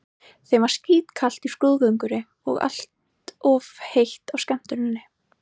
Þeim var skítkalt í skrúðgöngunni og allt of heitt á skemmtuninni.